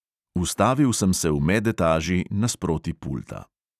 Ustavil sem se v medetaži nasproti pulta.